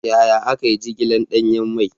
Yaya aka yi jigilar danyen mai?